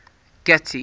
getty